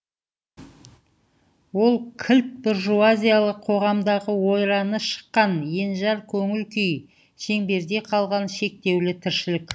ол кілт буржуазиялық қоғамдағы ойраны шыққан енжар көңіл күй шеңберде қалған шектеулі тіршілік